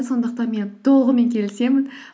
сондықтан мен толығымен келісемін